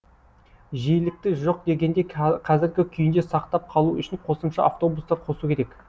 жиілікті жоқ дегенде қазіргі күйінде сақтап қалу үшін қосымша автобустар қосу керек